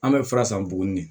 An bɛ fura san buguni